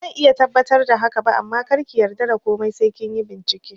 Bazan iya tabbatar da haka ba amma karki yarda da komai sai kinyi bincike